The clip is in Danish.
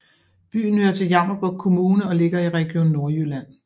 Byen hører til Jammerbugt Kommune og ligger i Region Nordjylland